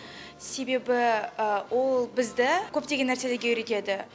себебі ол бізді көптеген нәрселерге үйретеді